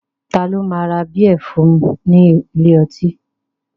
Ta ló máa ra bíẹ̀ fún ní ilé ọtí